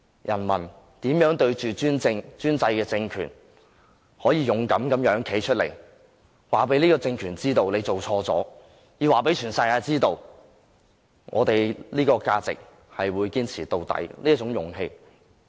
人民面對專制的政權，仍可勇敢地站出來，讓這個政權知道它做錯了，讓全世界知道我們這些價值和勇氣是會堅持到底的。